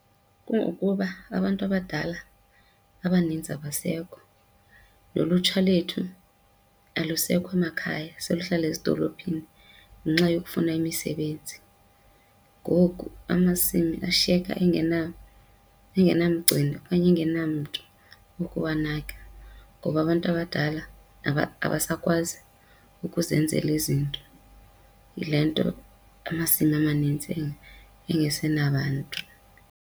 Kungokuba abantu abadala abaninzi abasekho nolutsha lethu alusekho emakhaya seluhlala ezidolophini ngenxa yokufuna imisebenzi. Ngoku amasimi ashiyeka engenamgcini okanye engenamntu wokuwanaka, ngoba abantu abadala abasakwazi ukuzenzela izinto. Yile nto amasimi amanintsi engesenabantu.